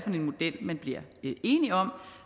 en model man bliver enige om